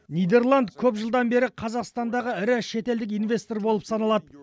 нидерланд көп жылдан бері қазақстандағы ірі шетелдік инвестор болып саналады